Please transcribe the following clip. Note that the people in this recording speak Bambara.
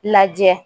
Lajɛ